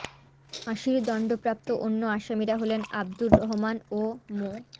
ফাঁসির দণ্ডপ্রাপ্ত অন্য আসামিরা হলেন আবদুর রহমান ও মো